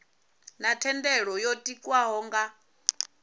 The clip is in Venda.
na thendelo yo tikwaho nga